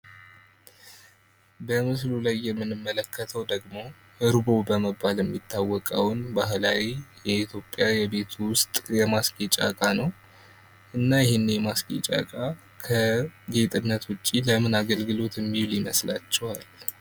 በምስሉ ላይ የምንመለከተው ደግሞ እርቦ በመባል የሚታወቀውን ባህላዊ የኢትዮጵያ የቤት ውሰጥ የማስጌጫ እቃ ነው ።እና ይሄ ማስጌጫ እቃ ከጌጥነት ውጭ ለምን አገልግሎት ሚውል ይመስላችኋል ?